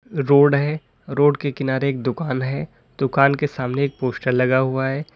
Road है road के किनारे एक दुकान है दुकान के सामने एक पोस्टर लगा हुआ है।